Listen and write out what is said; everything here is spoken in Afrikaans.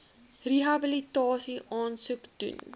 rehabilitasie aansoek doen